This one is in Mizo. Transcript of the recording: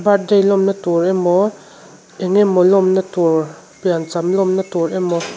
birthday lawmna tur emaw eng emaw lawmna tur piancham lawmna tur emaw--